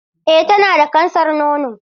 Eh tana da kansar nono.